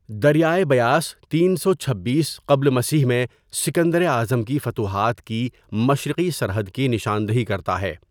دریائے بیاس ۳۲۶ قبل مسیح میں سکندر اعظم کی فتوحات کی مشرقی سرحد کی نشاندہی کرتا ہے۔